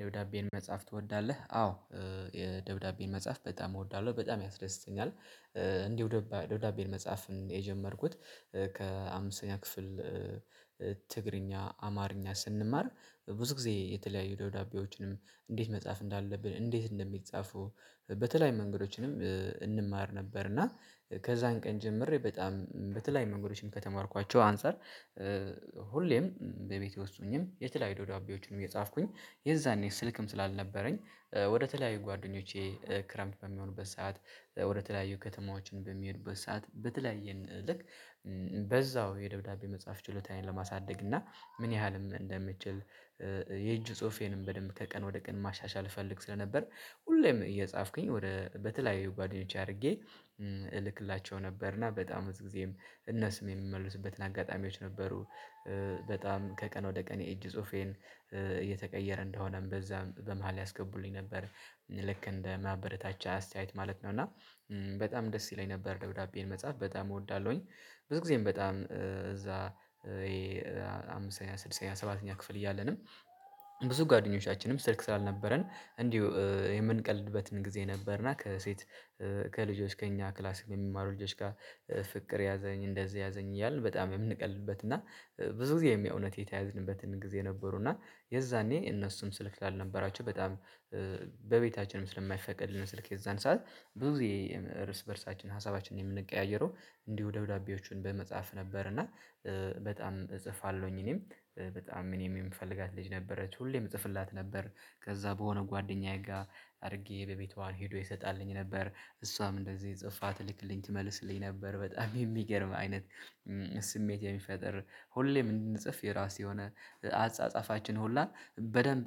ደብዳቤን መጻፍ ትወዳለህ? አዎ። ደብዳቤን መጻፍ በጣም እወዳለሁ በጣም ያስደስተኛል እንዲሁ ደውዳቤ መጻፍ የጀመርኩት ከአምስተኛ ክፍል ትግርኛ አማርኛ ስንማር ብዙ ጊዜ የተለያዩ ደብዳቤዎችን እንዴት መጻፍ እንዳለብን እንዴት እንደሚጻፈው በተለያዩ መንገዶችንም እንማር ነበር እና ከዛን ቀን ጀምሬ በጣም በተለያዩ መንገዶችን ከተማርኳቸው አንፃር። ሁሌም በቤቴ ውስጥ ሁኜም የተለያዩ ደብዳቤዎችን እየጻፍኩኝ የዛኔ ስልክም ስላልነበረኝ ወደ ተለያዩ ጓደኞቼ ክረምት በሚሆኑበት ሰዓት ወደ ተለያዩ ከተማዎችን በሚሄዱበት ሰዓት በተለያየ እንልክ በዛው የደብዳቤ መጻፍ ችሎታዬን ለማሳደግ እና ምን ያህልም እንደምችል የእጅ ጽሁፌንም በደንብ ከቀን ወደ ቀን ማሻሻል እፈልግ ስለነበር። ሁሌም እየጻፍኩኝ ወደ በተለያዩ ጓደኞቼ አድርጌ እልክላቸው ነበር እና በጣም ብዙ ጊዜም እነሱም የሚመልሱበትን አጋጣሚዎች ነበሩ። በጣም ከቀን ወደ ቀን የእጅ ጽሁፌን እየተቀየረ እንደሆነም በዛም በመሃል ያስገቡልኝ ነበር ልክ እንደ ማበረታቻ አስተያየት ማለት ነው። እና በጣም ደስ ይለኝ ነበር ደብዳቤን መጻፍ በጣም እወዳለሁኝ። ብዙ ጊዜም በጣም እዛ ይሄ አምስተኛ ስድስተኛ ሰባተኛ ክፍል እያለንም ብዙ ጓደኞቻችንም ስልክ ስላልነበረን እንዲሁ የምንቀልድበትም ጊዜ ነበርና ከሴት ከልጆች ከእኛ ክላሲክ በሚማሩ ልጆች ጋር ፍቅር ያዘኝ እንደዚህ ያዘኝ እያልን በጣም የምንቀልድበት እና ብዙ ጊዜ የሚያውቅ እውነት የተያዝንበትን ጊዜ ነበሩ። እና የዛኔ እነሱም ስልክ ስላልነበራችሁ በጣም በቤታችንም ስለማይፈቀድልን ስልክ የዛን ሰዓት ብዙ ጊዜ ርስ በርሳችን ሀሳባችን የምንቀያየረው እንዲሁ ደብዳቤዎቹን በመጻፍ ነበር እና በጣም እጽፋለሁኝ እኔም በጣም እኔም የምፈልጋት ልጅ ነበረች ሁሌም እጽፍላት ነበር። ከዛ በሆነ ጓደኛዬ ጋ አድርጌ በቤቷ ሂዶ ይሰጣልኝ ነበር እሷም እንደዚህ ጽፋ ትልክልኝ ትመልስልኝ ነበር በጣም የሚገርም አይነት ስሜት የሚፈጠር ሁሌም እንድንጽፍ የራሴ የሆነ አጻጻፋችን ሁላ በደንብ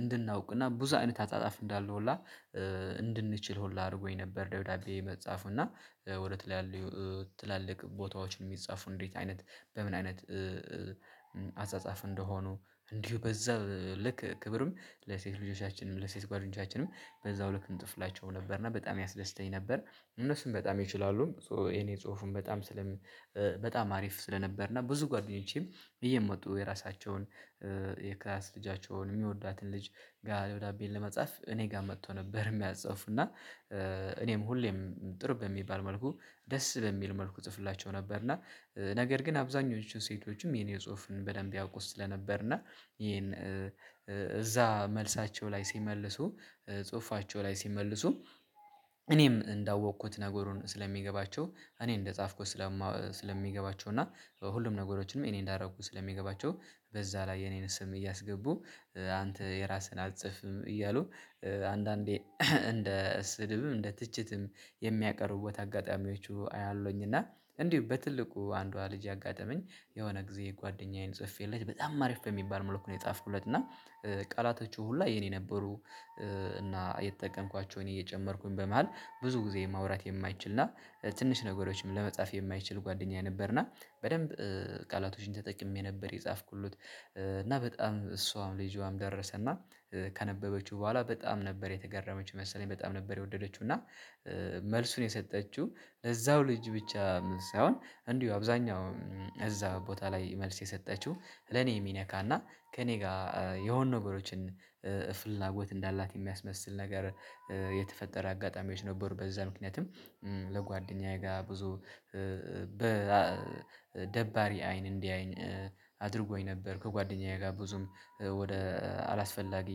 እንድናውቅና ብዙ አይነት አጻጻፍ እንዳለ ሁላ እንድንችል ሁላ አርጎኝ ነበር። ደብዳቤ መፃፉ እና ወደ ተለያዩ ትላልቅ ቦታዎች የሚጻፉን እንዴት አይነት በምን አይነት አጻጻፍ እንደሆኑ? እንዲሁ በዛ ልክ ክብርም ለሴት ልጆቻችንም ለሴት ጓደኞቻችንም በዛው ልክ እንጥፍላቸው ነበር እና በጣም ያስደስተኝ ነበር። እነሱም በጣም ይችላሉ ሶ የኔ ጽሁፉን በጣም ስለም በጣም አሪፍ ስለነበር እና ብዙ ጓደኞቼም እየመጡ የራሳቸውን የክላስ ልጃቸውን የሚወዳትን ልጅ ጋ ደብዳቤ ለመጻፍ እኔ ጋ መቶ ነበር ሚያጽፍ እና እኔም ሁሌም ጥሩ በሚባል መልኩ ደስ በሚል መልኩ እጽፍላቸው ነበር። እና ነገር ግን አብዛኞቹ ሴቶችም የኔን ጽሁፍ በደንብ ያውቁት ስለነበር እና ይሄን እዛ መልሳቸው ላይ ሲመልሱ ጽሁፋቸው ላይ ሲመልሱ እኔም እንዳወኩት ነገሩን ስለሚገባቸው እኔ እንደጻፍኩት ስለማ ስለሚገባቸው እና ሁሉም ነገሮችንም እኔ እንዳረኩ ስለሚገባቸው በዛ ላይ የኔን ስም እያስገቡ አንተ የራስህን አትጽፍም እያሉ አንዳንዴ እንደ ስድብም እንደ ትችትም የሚያቀርቡበት አጋጣሚዎቹ አያለሁኝ። እና እንዲሁ በትልቁ አንዷ ልጅ ያጋጠመኝ የሆነ ጊዜ ጓደኛዬን ጽፌለት በጣም አሪፍ በሚባል መለኩ የጻፍኩለት እና ቃላቶቹ ሁላ የኔ ነበሩ። እና የተጠቀምኳቸው እኔ እየጨመርኩኝ በመሃል ብዙ ጊዜ ማውራት የማይችል እና ትንሽ ነገሮችም ለመጻፍ የማይችል ጓደኛዬ ነበርና በደንብ ቃላቶችን ተጠቅሜ ነበር የጻፍኩለት እና በጣም እሷም ልጅዋም ደረሰና ካነበበችው በኋላ በጣም ነበር የተገረመችው መሰለኝ በጣም ነበር የወደደችው እና መልሱን የሰጠችው እዛው ልጅ ብቻ ሳይሆን እንዲሁ አብዛኛው እዛ ቦታ ላይ መልስ የሰጠችው ለኔ የሚነካና ከእኔ ጋ የሆኑ ነገሮችን ፍላጎት እንዳላት የሚያስመስል ነገር የተፈጠረ አጋጣሚዎች ነበሩ። በዛ ምክንያቱም ለጓደኛዬ ጋ ብዙ በ ደባሪ አይን እንዲያየኝ አድርጎኝ ነበር ከጓደኛዬ ጋር ብዙም ወደ አላስፈላጊ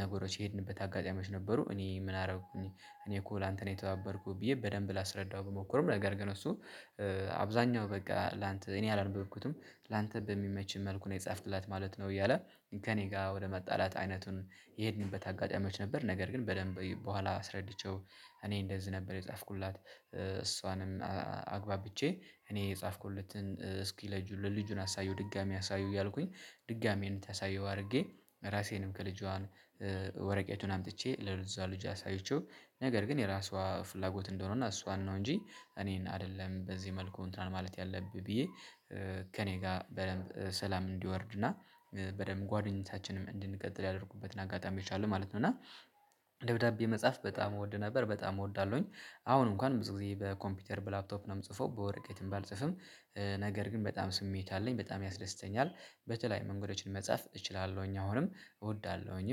ነገሮች የሄድንበት አጋጣሚዎች ነበሩ። እኔ ምን አረኩኝ? እኔ እኮ ላንተ ነው የተባበርኩ ብዬ በደንብ ላስረዳው ብሞክርም ነገር ግን እሱ አብዛኛው በቃ ላንተ እኔ አላነበብኩትም ላንተ በሚመችኝ መልኩ ነው የጻፍክላት ማለት ነው። እያለ ከእኔ ጋር ወደ መጣላት አይነቱን የሄድንበት አጋጣሚዎች ነበር። ነገር ግን በደንብ በኋላ አስረድቼው እኔ እንደዚህ ነበር የጻፍኩላት እሷንም አግባብቼ እኔ የጻፍኩለትን እስኪ ለልጁ ለልጁን አሳየው ድጋሜ አሳይው እያልኩኝ ድጋሜ እንድታሳየው አርጌ ራሴንም ከልጇ ወረቀቱን አምጥቼ ለዛ ልጅ አሳይቼው ነገር ግን የራሷ ፍላጎት እንደሆነ እና እሷን ነው እንጂ እኔን አይደለም በዚህ መልኩ እንትናን ማለት ያለብህ ብዬ ከእኔ ጋር በደንብ ሰላም እንዲወርድና በደንብ ጓደኞቻችንም እንድንቀጥል ያደርጉበት አጋጣሚዎች አሉ ማለት ነው። እና ደብዳቤ መጻፍ በጣም እወድ ነበር በጣም እወዳለሁኝ አሁን እንኳን ብዙ ጊዜ በኮምፒውተር በላፕቶፕ ነው የምጽፈው በወረቀት ባልጽፍም ነገር ግን በጣም ስሜት አለኝ በጣም ያስደስተኛል። በተለያዩ መንገዶችን መጻፍ እችላለሁኝ አሁንም እወዳለሁኝ